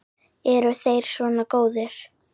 Eru þeir svona góðir?